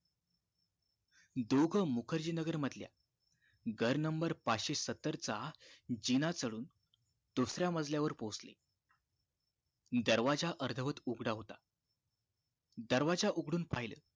दोघ मुखर्जी नगर मधल्या घर number पाचशे सत्तर चा जिना चडून दुसऱ्या मजल्या वर पोचले दरवाजा अर्धवट उघडा होता दरवाजा उघडून पाहिलं